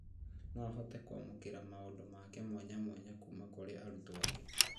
No ahote kwamũkĩra maũndũ make mwanyamwanya kuma kũrĩ arutwo angĩ